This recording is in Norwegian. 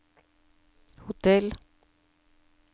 hotell